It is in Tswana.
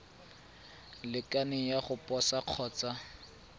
lekaneng ya go posa kgotsa